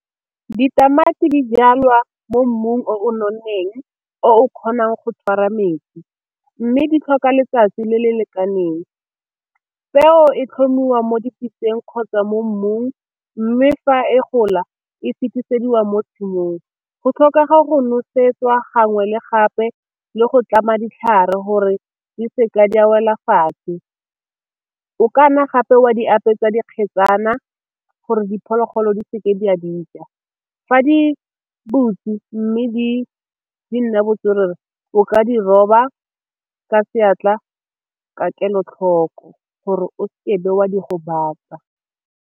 Ditamati di jalwa mo mmung o nonneng o kgonang go tshwara metsi, mme di tlhoka letsatsi le le lekaneng. Peo e tlhomiwa mo dipitseng kgotsa mo mmung mme fa e gola e fetisediwa mo tshimong, go tlhoka go nosetswa gangwe le gape le go tlama ditlhare gore di seke di a wela fatshe. O kana gape wa di apesa dikgetsana gore diphologolo di seke di a dija. Fa di butswe mme di nna botswerere o ka di roba ka seatla ka kelotlhoko gore o se ke be wa di gobatsa.